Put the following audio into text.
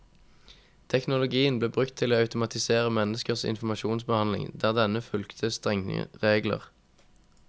Teknologien ble brukt til å automatisere menneskers informasjonsbehandling der denne fulgte strenge regler.